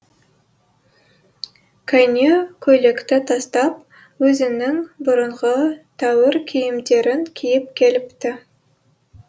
кәне көйлекті тастап өзінің бұрынғы тәуір киімдерін киіп келіпті